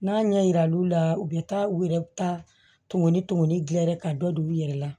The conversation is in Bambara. N'a ɲɛ yira olu la u bɛ taa u yɛrɛ ta tun ni tumuni dilan dɛ ka dɔ don u yɛrɛ la